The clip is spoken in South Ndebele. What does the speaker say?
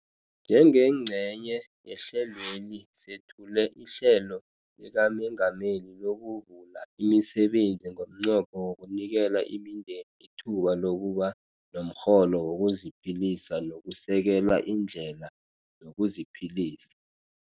Njengengcenye yehlelweli sethule iHlelo likaMengameli lokuVula imiSebenzi ngomnqopho wokunikela imindeni ithuba lokuba nomrholo wokuziphilisa nokusekela iindlela zokuziphilisa.